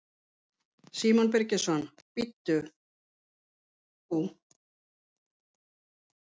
Símon Birgisson: Bíddu, og hvar ert þú?